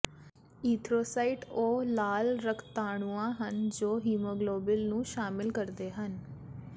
erythrocyte ਉਹ ਲਾਲ ਰਕਤਾਣੂਆਂ ਹਨ ਜੋ ਹਿਮੋਗਲੋਿਬਨ ਨੂੰ ਸ਼ਾਮਲ ਕਰਦੇ ਹਨ